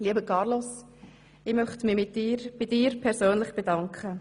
Lieber Carlos, ich möchte mich bei dir persönlich bedanken.